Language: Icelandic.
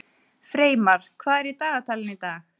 Freymar, hvað er í dagatalinu í dag?